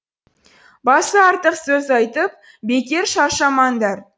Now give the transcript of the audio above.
басы артық сөз айтып бекер шаршамаңдар